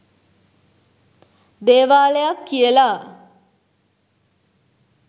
දේවාලයක් කියලා.